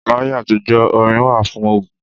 Láyé àtijó, orin wà fún ogun.